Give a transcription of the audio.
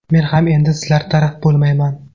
Men ham endi sizlar taraf bo‘lmayman.